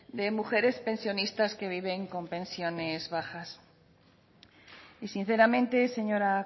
de mujeres pensionistas que viven con pensiones bajas y sinceramente señora